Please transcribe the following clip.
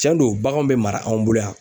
Cɛn do baganw bɛ mara anw bolo yan.